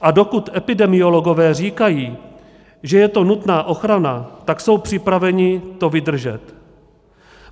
A dokud epidemiologové říkají, že je to nutná ochrana, tak jsou připraveni to vydržet.